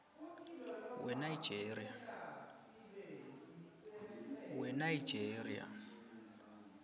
wenigeria